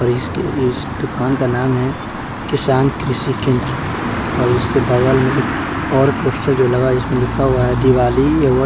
और इसके इस दुकान का नाम है किसान कृषि केंद्र और इसके बगल में एक और पोस्टर जो लगा इसमें लिखा हुआ है दिवाली--